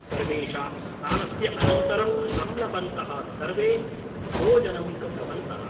सर्वेषां स्नानस्य अनन्तरं संलपन्तः सर्वे भोजनं कृतवन्तः ।